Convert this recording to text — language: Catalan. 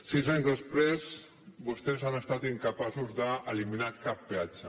sis anys després vostès han estat incapaços d’eliminar cap peatge